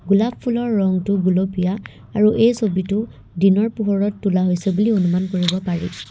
গোলাপ ফুলৰ ৰংটো গুলপীয়া আৰু এই ছবিতো দিনৰ পোহৰত তোলা হৈছে বুলি অনুমান কৰিব পাৰি।